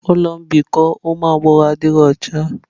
Ụlọ mbikọ ụmụ agbọghọ adịghị ọcha.